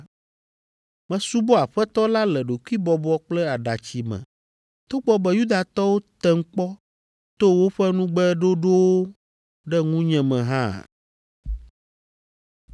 Mesubɔ Aƒetɔ la le ɖokuibɔbɔ kple aɖatsi me togbɔ be Yudatɔwo tem kpɔ to woƒe nugbeɖoɖowo ɖe ŋunye me hã.”